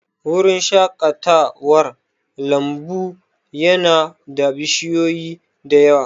Wurin shaƙatawar lambu ya na da bishiyoyi da yawa